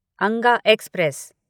Anga express